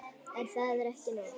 En það er ekki nóg.